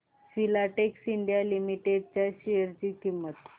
Filatex India limited share शेअर ची किंमत